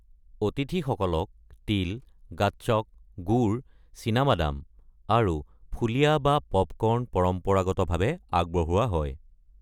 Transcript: অতিথিসকলক তিল, গাচ্চক, গুৰ, চীনা বাদাম আৰু ফুলিয়া বা পপকৰ্ণ পৰম্পৰাগতভাৱে আগবঢ়োৱা হয়।